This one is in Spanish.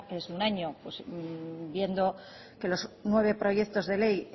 de un año viendo que los nueve proyectos de ley